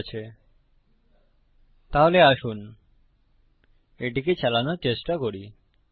ঠিক আছে তাহলে আসুন এটিকে চালানোর চেষ্টা করি